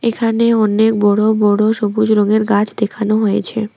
এখানে অনেক বড় বড় সবুজ রঙের গাছ দেখানো হয়েছে।